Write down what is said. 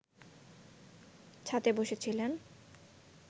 ছাতে বসেছিলেন